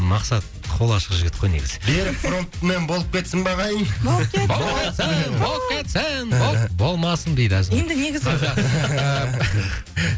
мақсат қолы ашық жігіт қой негізі берік фронтмен болып кетсін бе ағайын болып кетсін болып кетсін болмасын дейді әзімбек енді негізі